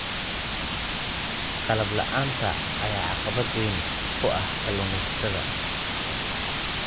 Qalab la'aanta ayaa caqabad weyn ku ah kalluumaysatada.